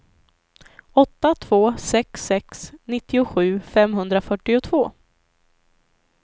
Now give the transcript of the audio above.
åtta två sex sex nittiosju femhundrafyrtiotvå